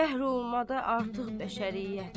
Qəhr olmaqda artıq bəşəriyyət.